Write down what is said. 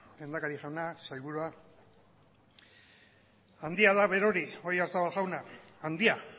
lehendakari jauna sailburua handia da berori oyarzabal jauna handia